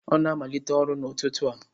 Ọ na-amalite ọrụ n'ụtụtụ a.